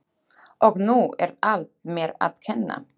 Og nú er allt mér að kenna?